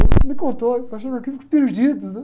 Teve um que me contou, estava aquilo muito perdido, né?